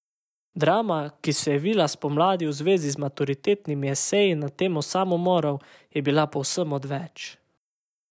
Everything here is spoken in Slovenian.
Drama, ki se je vila spomladi v zvezi z maturitetnimi eseji na temo samomorov, je bila povsem odveč.